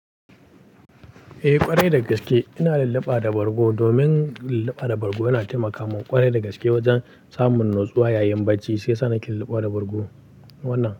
Eh ƙwarai da gaske, ina lulluɓa da bargo domin lulluɓa da bargo yana taimaka min ƙwarai da gaske wajen samun natsuwa yayin bacci, sai sannan ke lulluɓa da bargo wannan.